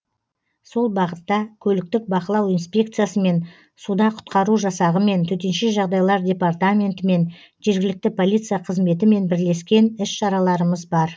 сол бағытта көліктік бақылау инспекциясымен суда құтқару жасағымен төтенше жағдайлар департаментімен жергілікті полиция қызметімен бірлескен іс шараларымыз бар